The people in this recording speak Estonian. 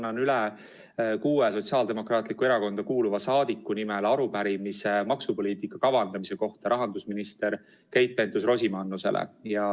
Ma annan kuue Sotsiaaldemokraatlikku Erakonna liikme nimel üle arupärimise maksupoliitika kavandamise kohta rahandusminister Keit Pentus-Rosimannusele.